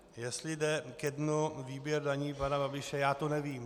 Jestli jde ke dnu výběr daní pana Babiše, já to nevím.